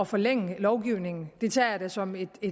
forlænge lovgivningen det tager jeg da som et